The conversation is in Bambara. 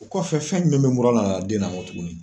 O kɔfɛ fɛn min bɛ bɔra la den na n kɔ tuguni